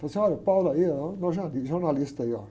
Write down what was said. Falei assim, olha, aí, meu, jornalista aí, olha.